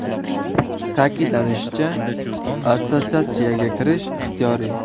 Ta’kidlanishicha, assotsiatsiyaga kirish ixtiyoriy.